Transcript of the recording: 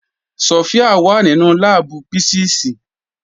Sofia wà nínú láàbù písíìsì.